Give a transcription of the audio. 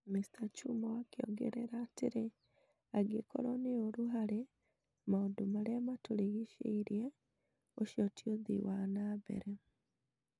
Mr.Chumo akĩongerera atĩrĩrĩ, "Angĩkorwo nĩ ũru harĩ maũndũ marĩa matũrigicĩirie , ũcio ti ũthii wa na mbere."